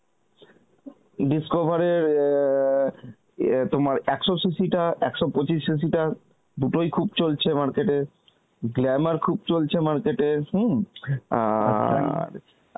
discover এর এ, এ তোমার একশো CC টা একশো পঁচিস CC টা দুটি খুব চলছে market এ, glamour খুব চলছে market এ হম আর